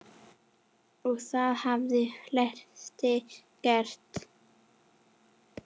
Og það hafa flestir gert.